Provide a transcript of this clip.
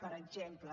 per exemple